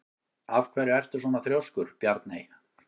Af hverju ertu svona þrjóskur, Bjarney?